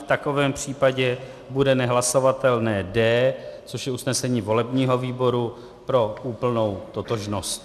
V takovém případě bude nehlasovatelné D, což je usnesení volebního výboru, pro úplnou totožnost.